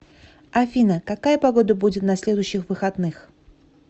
афина какая погода будет на следующих выходных